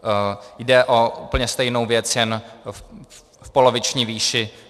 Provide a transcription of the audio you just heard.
Jde o úplně stejnou věc, jen v poloviční výši.